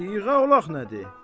Siğə olaq nədir?